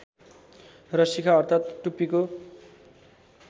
र शिखा अर्थात् टुप्पीको